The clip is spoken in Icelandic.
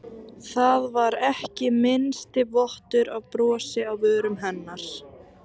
Það var ekki minnsti vottur af brosi á vörum hennar.